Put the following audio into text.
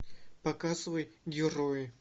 показывай герои